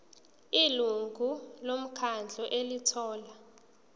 ilungu lomkhandlu elithola